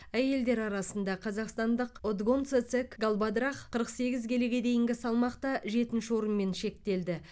әйелдер арасында қазақстандық отгонцэцэг галбадрах қырық сегіз келіге дейінгі салмақта жетінші орынмен шектелді